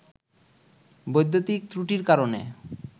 বৈদ্যুতিক ত্রুটির কারণে